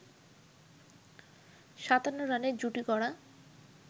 ৫৭ রানের জুটি গড়া